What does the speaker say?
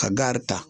Ka gari ta